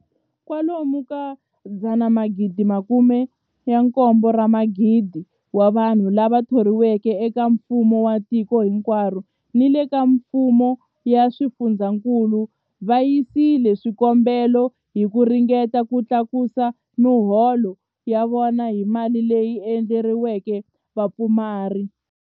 Kwa lomu ka 17,000 wa vanhu lava thoriweke eka mfumo wa tiko hinkwaro ni le ka mifumo ya swifundzankulu va yisile swikombelo hi ku ringeta ku tlakusa miholo ya vona hi mali leyi endleriweke vapfumari.